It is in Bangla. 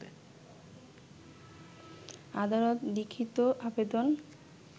আদালত লিখিত আবেদন